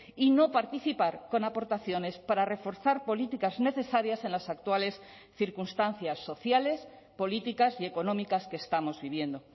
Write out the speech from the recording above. y no participar con aportaciones para reforzar políticas necesarias en las actuales circunstancias sociales políticas y económicas que estamos viviendo